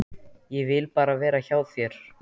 Ég vil bara vera hjá þér.